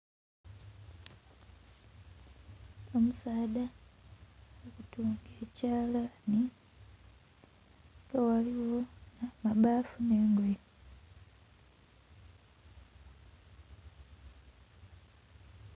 Omusaadha ali kutunga ekyalani ghano ghaligho ebafu ne ngoye.